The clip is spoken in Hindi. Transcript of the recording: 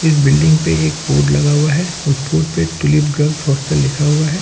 इस बिल्डिंग पे एक बोर्ड लगा हुआ है उस बोर्ड पे ट्यूलिप गर्ल्स हॉस्टल लिखा हुआ है।